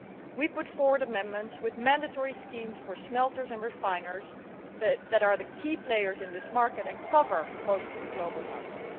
We put forward amendments with mandatory schemes for smelters and refiners, which are the key players in this market and cover most of the global market.